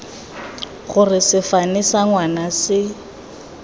gore sefane sa ngwana se